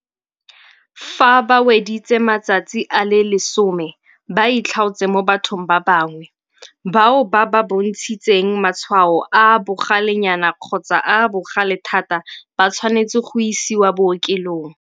Fa ba weditse matsatsi a le 10 ba itlhaotse mo bathong ba bangwe. Bao ba bontshitseng matshwao a a bogalenyana kgotsa a a bogale thata ba tshwanetse go isiwa bookelong.